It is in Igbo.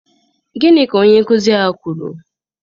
Gịnị ka onye nkụzi ahụ kwuru?